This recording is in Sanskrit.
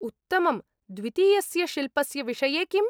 उत्तमम्। द्वितीयस्यशिल्पस्य विषये किम्?